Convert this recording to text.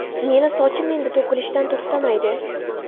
Meni sochim endi to‘kilishidan to‘xtamaydi.